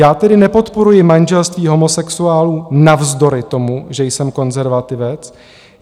Já tedy nepodporuji manželství homosexuálů navzdory tomu, že jsem konzervativec.